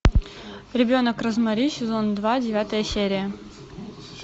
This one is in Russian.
ребенок розмари сезон два девятая серия